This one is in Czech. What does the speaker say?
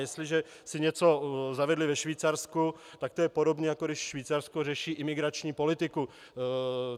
Jestliže si něco zavedli ve Švýcarsku, tak je to podobné, jako když Švýcarsko řeší imigrační politiku.